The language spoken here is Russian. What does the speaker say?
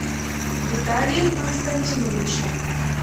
виталием константиновичем